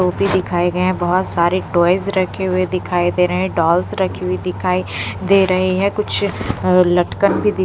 दिखाए गए हैं बहुत सारे टॉयज रखे हुए दिखाई दे रहे हैं डॉल्स रखी हुई दिखाई दे रही है कुछ अ लटकन भी दिख --